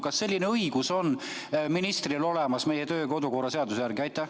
Kas selline õigus on ministril olemas meie kodu- ja töökorra seaduse järgi?